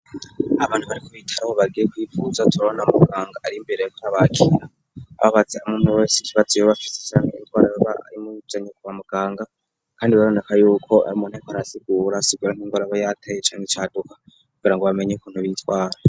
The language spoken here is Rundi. Abantu bari ku bitaro bagiye kwivuza, turabona muganga ari imbere ariko arabakira ababaza umwumwe wese ikibazo yoba afise canke ingwara yoba imuzanye kwa muganga kandi biraboneka yuko ari umuntu ariko arasigura nk'ingwara yoba yateye canke icaduka kugira ngo bamenye ukuntu bitwara.